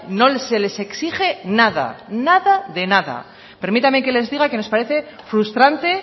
no se les exige nada nada de nada permítame que les diga que nos parece frustrante